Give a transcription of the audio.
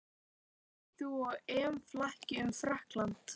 Ert þú á EM-flakki um Frakkland?